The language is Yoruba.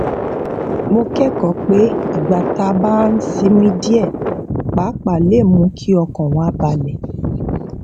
mo kékòó pé ìgbà tá a bá sinmi díè pàápàá lè mú kí ọkàn wa balè